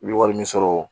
I bɛ wari min sɔrɔ